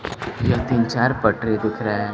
यह तीन चार पटरी दिख रहा है।